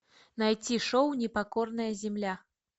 найти шоу непокорная земля